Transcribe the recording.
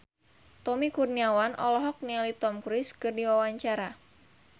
Tommy Kurniawan olohok ningali Tom Cruise keur diwawancara